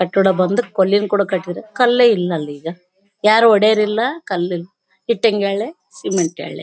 ಕಟ್ಟಡ ಬಂದು ಕಲ್ಲಿಂದ್ ಕೂಡ ಕಟ್ಟಿದ್ದಾರೆ ಕಲ್ಲೇ ಇಲ್ಲಲ್ಲ ಈಗ ಯಾರೂ ಒಡೆಯೋರು ಇಲ್ಲ ಕಲ್ಲ ಇಟ್ಟಿಗೆಗಳೇ ಸೀಮೆಂಟ್ ಗಳೇ.